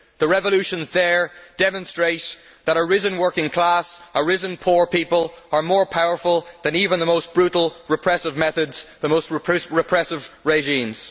The revolutions there demonstrate that a risen working class and the risen poor are more powerful than even the most brutal repressive methods, the most repressive regimes.